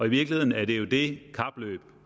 virkeligheden er det jo det kapløb